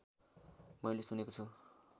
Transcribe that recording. मैले सुनेको छु